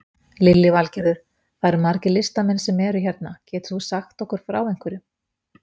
Lillý Valgerður: Það eru margir listamenn sem eru hérna, getur þú sagt okkur frá einhverju?